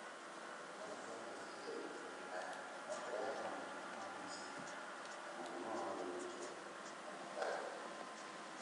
Kũnoga kwa meciria ihinda iraya no kũrehe mathĩna ma meciria, ta mũrimũ wa gwĩthikĩra na mĩtangĩko.